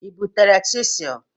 Ị butere chisel?